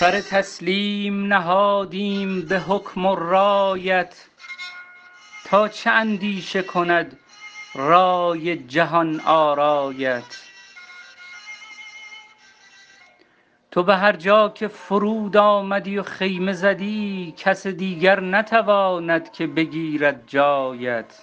سر تسلیم نهادیم به حکم و رایت تا چه اندیشه کند رای جهان آرایت تو به هر جا که فرود آمدی و خیمه زدی کس دیگر نتواند که بگیرد جایت